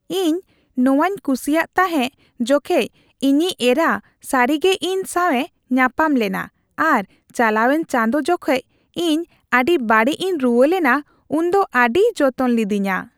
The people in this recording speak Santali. ᱤᱧ ᱱᱚᱶᱟᱧ ᱠᱩᱥᱤᱭᱟᱜ ᱛᱟᱦᱮᱸ ᱡᱚᱠᱮᱡ ᱤᱧᱤᱡ ᱮᱨᱟ ᱥᱟᱹᱨᱤᱜᱮ ᱤᱧ ᱥᱟᱶᱮ ᱛᱟᱯᱟᱢ ᱞᱮᱱᱟ ᱟᱨ ᱪᱟᱞᱟᱣᱮᱱ ᱪᱟᱸᱫᱳ ᱡᱚᱠᱷᱮᱡ ᱤᱧ ᱟᱹᱰᱤ ᱵᱟᱹᱲᱤᱡ ᱤᱧ ᱨᱩᱣᱟᱹ ᱞᱮᱱᱟ ᱩᱱ ᱫᱚ ᱟᱹᱰᱤᱭ ᱡᱚᱛᱚᱱ ᱞᱤᱫᱤᱧᱟ ᱾